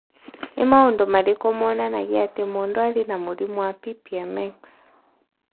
Nĩ maũndũ marĩkũ monanagia atĩ mũndũ arĩ na mũrimũ wa PPM X?